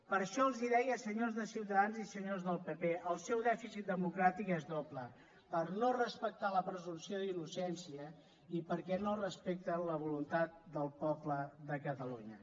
per això els deia senyors de ciutadans i senyors del pp el seu dèficit democràtic és doble per no respectar la presumpció d’innocència i perquè no respecten la voluntat del poble de catalunya